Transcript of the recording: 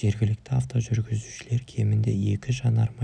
жергілікті авто жүргізушілер кемінде екі жанармай